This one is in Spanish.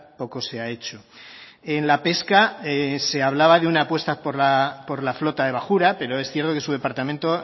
poco se ha hecho en la pesca se hablaba de una apuesta por la flota de bajura pero es cierto que su departamento